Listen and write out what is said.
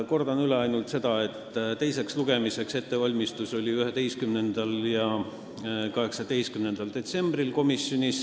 Kordan üle ainult selle, et ettevalmistus teiseks lugemiseks toimus komisjonis 11. ja 18. detsembril.